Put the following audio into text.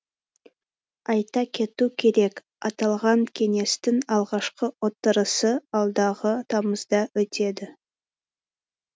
айта кету керек аталған кеңестің алғашқы отырысы алдағы тамызда өтеді